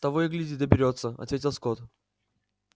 того и гляди доберётся ответил скотт